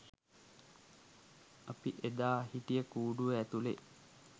අපි එ දා හිටිය කූඩුව ඇතුලේ